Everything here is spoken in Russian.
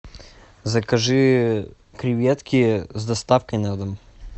закажи креветки с доставкой на дом